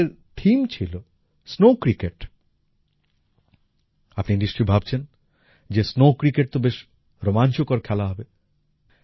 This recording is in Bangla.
এই গেমসের থিম ছিল স্নো ক্রিকেট আপনি নিশ্চয়ই ভাবছেন যে স্নো ক্রিকেট তো বেশ রোমাঞ্চকর খেলা হবে